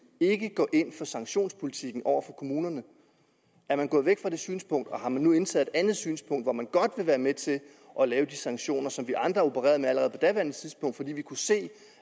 ikke går ind for sanktionspolitikken over for kommunerne er man gået væk fra det synspunkt og har man nu indtaget et andet synspunkt hvor man godt vil være med til at lave de sanktioner som vi andre opererede med allerede på daværende tidspunkt fordi vi kunne se